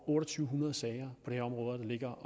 otte hundrede sager på det område der ligger